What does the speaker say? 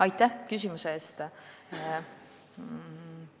Aitäh küsimuse eest!